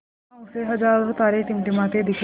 वहाँ उसे हज़ारों तारे टिमटिमाते दिखे